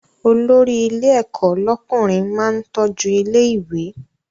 Olórí ilé ẹ̀kọ́ lọ́kùnrin máa ń tọ́jú ilé ìwé